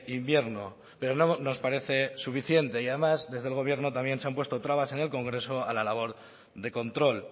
invierno pero no nos parece suficiente y además desde el gobierno también se han puesto trabas en el congreso a la labor de control